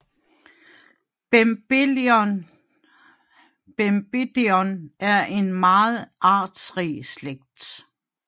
Bembidion er en meget artsrig slægt